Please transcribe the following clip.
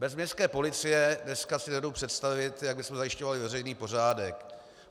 Bez městské policie dneska si nedovedu představit, jak bychom zajišťovali veřejný pořádek.